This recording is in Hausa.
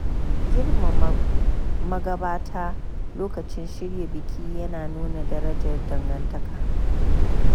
Girmama magabata lokacin shirya biki ya na nuna darajar dangantaka.